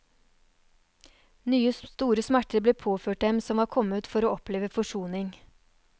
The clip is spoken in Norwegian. Nye store smerter ble påført dem som var kommet for å oppleve forsoning.